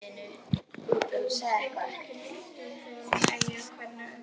Augun skjóta gneistum þegar hún eygir hvergi undankomuleið.